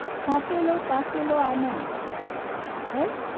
થાકેલો પાકેલો આનંદ હે